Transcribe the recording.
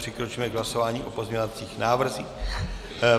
Přikročíme k hlasování o pozměňovacích návrzích.